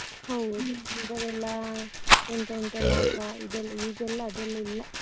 ಹೌದು ಮೊದಲೆಲ್ಲ ಎಂತ ಎಂತೆಲ್ಲ ಆಟ ಇದೆಲ್ಲ ಈಗೆಲ್ಲ ಅದೆಲ್ಲ ಇಲ್ಲ.